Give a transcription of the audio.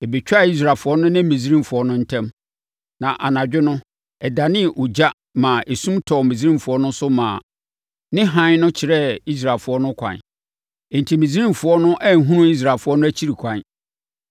Ɛbɛtwaa Israelfoɔ no ne Misraimfoɔ no ntam. Na anadwo no, ɛdanee ogya maa esum tɔɔ Misraimfoɔ no so maa ne hann no kyerɛɛ Israelfoɔ no ɛkwan. Enti Misraimfoɔ no anhunu Israelfoɔ no akyiri kwan.